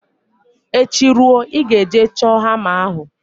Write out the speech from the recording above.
Echi ruo, ị ga-eje chọọ hama ahụ!